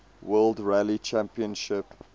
world rally championship